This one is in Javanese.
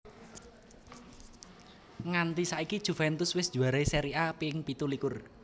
Nganti saiki Juventus wis njuarai Seri A ping pitu likur